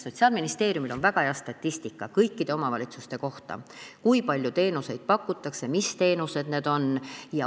Sotsiaalministeeriumil on väga hea statistika kõikide omavalitsuste kohta, kui palju teenuseid pakutakse ja mis teenused need on.